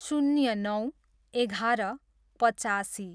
शून्य नौ, एघार, पचासी